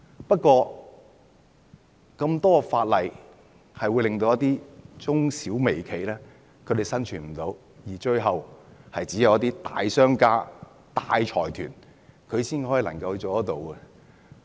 不過，有這麼多法例會令一些中小微企無法生存，最後就只會剩下一些大商家、大財團。